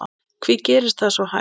Hví gerist það svo hægt?